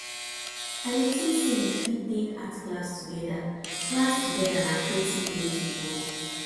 i dey think say we fit take art class together class together na creative way to bond